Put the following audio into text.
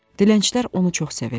Dilənçilər onu çox sevirdi.